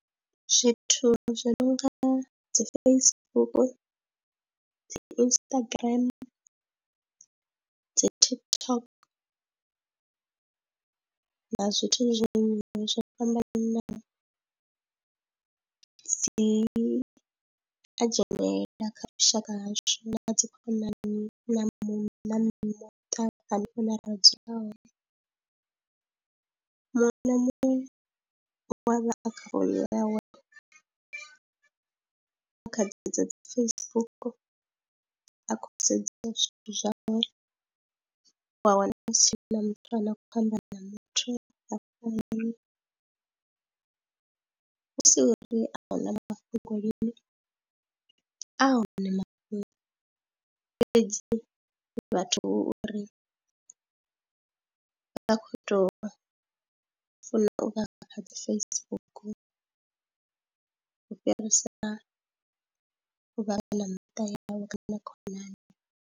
Zwithu zwi nonga dzi Facebook dzi Instagram dzi TikTok na zwithu zwi limiwi zwo fhambananaho, dzi a dzhenelela kha vhushaka hashu na dzi khonani na muṋo na muṱa hune ra dzula hone. Muṅwe na muṅwe we a vha a kha yawe a kha dzedzo dzi Facebook a khou sedzesa zwithu zwawe u a wana hu si na muthu ane a khou amba na muthu a fani hu si uri a huna mafhungo lini a hone mafhungo, fhedzi vhathu uri vha vha khou tou funa u vha kha dzi Facebook u fhirisa u vha vha na miṱa yavho na khonani.